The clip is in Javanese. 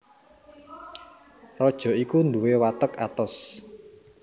Raja iku nduwé watek atos